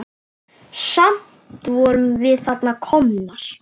Samt vorum við þarna komnar.